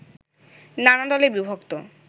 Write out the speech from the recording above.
নানা দলে বিভক্ত